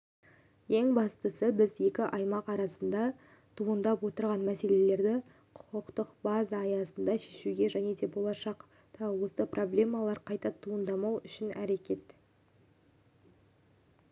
ең бастысы біз екі аймақ арасында туындап отырған мәселелерді құқықтық база аясында шешуге және болашақта осы проблемалар қайта туындамау үшін әрекет